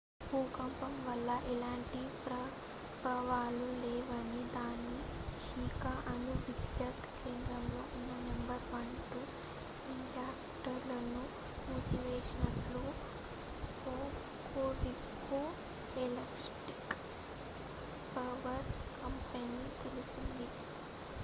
భూకంపం వల్ల ఎలాంటి ప్రభావాలు లేవని దాని షికా అణు విద్యుత్ కేంద్రంలో ఉన్న నెంబర్ 1 2 రియాక్టర్లను మూసివేసినట్లు హోకురికు ఎలక్ట్రిక్ పవర్ కంపెనీ తెలిపింది